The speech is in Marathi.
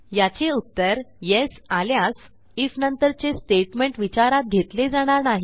याचे उत्तर येस आल्यास आयएफ नंतरचे स्टेटमेंट विचारात घेतले जाणार नाही